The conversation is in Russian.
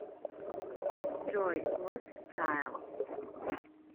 джой лост тайл